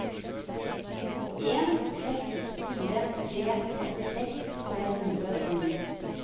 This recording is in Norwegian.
en seks fire tre åttiseks fem hundre og ni